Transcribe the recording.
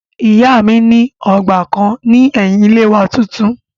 Ìyá mi ní ọgbà kan ní ẹ̀yin ilé wa tuntun